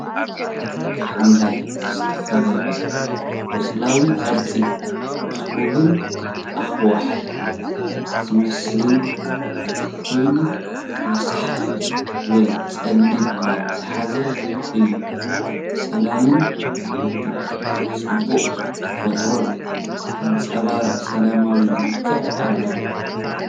ብሓምላይ ዝተኸበበ ቐፅለዋይ ፣ ቅርጹ ክቡብን ኣኻውሕ ዝመስልን ኮይኑ ረሳሕ ወይ ጸሊም ማይ ዝሓዘ እዩ። ሰላምን ሕቡእ ጽባቐ ተፈጥሮን ዘንጸባርቕ፡ ሰላማዊ መልክዕ ኣለዎ።